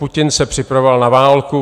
Putin se připravoval na válku.